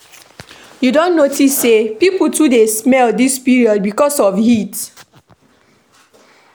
You don notice sey pipo too dey smell dis period because of heat?